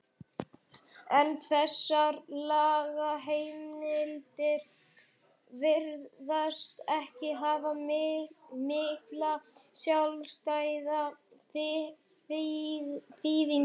en þessar lagaheimildir virðast ekki hafa mikla sjálfstæða þýðingu.